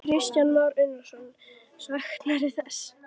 Kristján Már Unnarsson: Saknarðu þess?